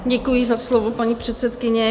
Děkuji za slovo, paní předsedkyně.